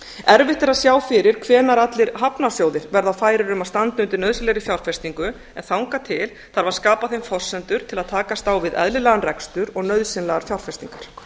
erfitt er að sjá fyrir hvenær allir hafnarsjóðir verða færir um að standa undir nauðsynlegri fjárfestingu en þangað til þarf að skapa þeim forsendur til að takast á við eðlilegan rekstur og nauðsynlegar fjárfestingar